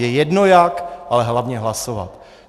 Je jedno jak, ale hlavně hlasovat.